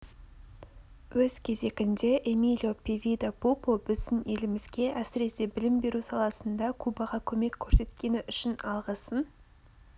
өз кезегінде эмилио певида пупо біздің елімізге әсіресе білім беру саласында кубаға көмек көрсеткені үшін алғысын